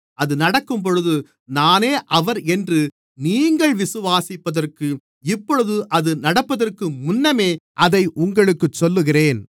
அது நடக்கும்போது நானே அவர் என்று நீங்கள் விசுவாசிப்பதற்கு இப்பொழுது அது நடப்பதற்கு முன்னமே அதை உங்களுக்குச் சொல்லுகிறேன்